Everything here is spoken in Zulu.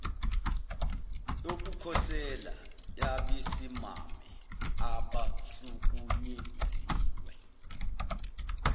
yokukhosela yabesimame abahlukunyeziwe